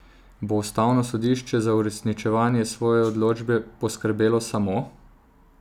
Bo ustavno sodišče za uresničevanje svoje odločbe poskrbelo samo?